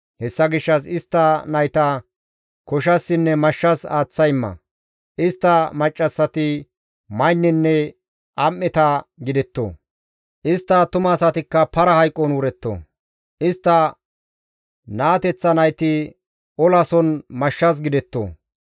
Hessa gishshas istta nayta koshassinne mashshas aaththa imma; istta maccassati maynnenne am7eta gidetto; istta attumasatikka para hayqon wuretto; istta naateththa nayti olason mashshas gidetto